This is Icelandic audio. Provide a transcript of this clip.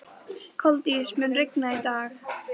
Koldís, mun rigna í dag?